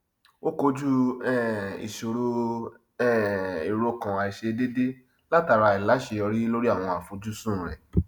ó kojú um ìṣòro um ìrokàn àìṣe déédé látara àìláṣeyọrí lórí àwọn àfojùsùn rẹ